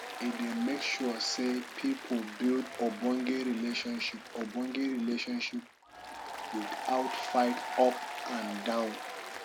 e dey make sure sey pipo build ogbonge relationship ogbonge relationship without fight up and down